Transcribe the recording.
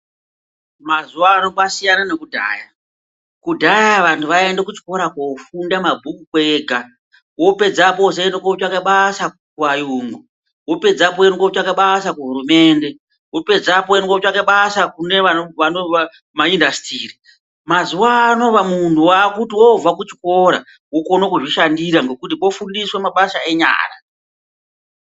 Mazuwa ano kwasiyana ngekudhaya, kudhaya vantu vaiende kuchikora kofunda mabhuku kwega wopedzapo wozoende kotsvake basa kuayungu, wopedzapo woenda kotsvake basa kuhurumende, wopedzapo woende kotsvake basa kumaIndustry, mazuano munhu wakuti woobva kuchikora wokone kuzvishandira ngekuti kwofundiswe mabasa enyara.